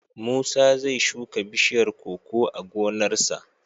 Musa zai shuka bishiyar koko a gonarsa.